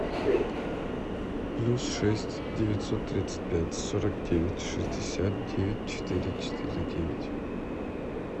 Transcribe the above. плюс шесть девятьсот тридцать пять сорок девять шестьдесят девять четыре четыре девять